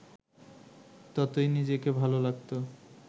ততই নিজেকে ভালো লাগত